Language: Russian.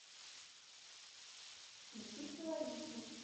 включи хелавису